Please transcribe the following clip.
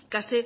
y casi